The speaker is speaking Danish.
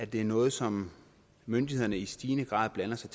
det er noget som myndighederne i stigende grad blander sig